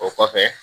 O kɔfɛ